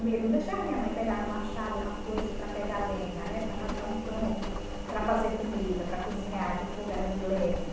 Ele não deixava minha mãe pegar no machado ou na foice para pegar lenha, né, para rachar um tronco, para fazer comida, para cozinhar, porque o fogo era de lenha.